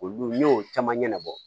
Olu ne y'o caman ɲɛnabɔ